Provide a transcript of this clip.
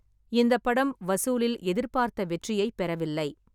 இந்தப் படம் வசூலில் எதிர்பார்த்த வெற்றியைப் பெறவில்லை.